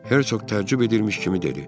Hersoq tərcüb edirmiş kimi dedi.